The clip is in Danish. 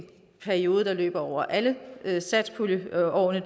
periode der løber over alle satspuljeårene